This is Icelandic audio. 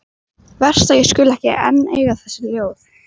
Verst að ég skuli ekki enn eiga þessi ljóð.